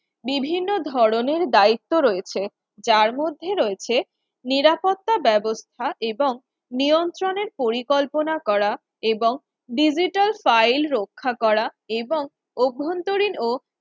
বিভিন্ন ধরনের দায়িত্ব রয়েছে যার মধ্যে রয়েছে নিরাপত্তা ব্যবস্থা এবং নিয়ন্ত্রণের পরিকল্পনা করা এবং Digital file রক্ষা করা এবং অভ্যন্তরীণ ও